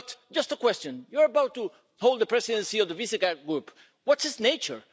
But, just a question, as you're about to hold the presidency of the Visegrád Group what is its nature?